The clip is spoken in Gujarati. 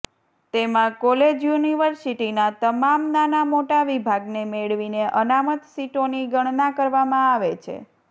તેમાં કોલેજ યુનિવર્સિટીના તમામ નાના મોટા વિભાગને મેળવીને અનામત સીટોની ગણના કરવામાં આવે છે